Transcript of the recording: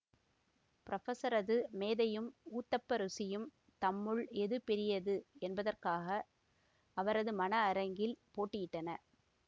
புரொபெஸரது மேதையும் ஊத்தப்ப ருசியும் தம்முள் எது பெரியது என்பதற்காக அவரது மன அரங்கில் போட்டியிட்டன